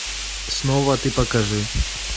снова ты покажи